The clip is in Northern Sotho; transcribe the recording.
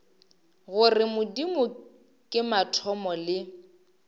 gore modimo ke mathomo le